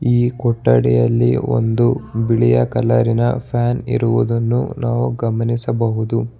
ಈ ಕೊಠಡಿಯಲ್ಲಿ ಒಂದು ಬಿಳಿಯ ಕಲರಿನ ಫ್ಯಾನ್ ಇರುವುದನ್ನು ನಾವು ಗಮನಿಸಬಹುದು.